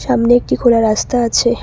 চামনে একটি খোলা রাস্তা আছে।